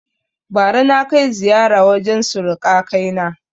Bara na kai ziƴara wajen suruƙa kai na